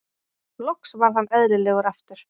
Loks varð henn elðilegur aftur.